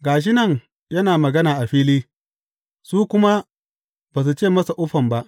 Ga shi nan yana magana a fili, su kuma ba su ce masa uffam ba.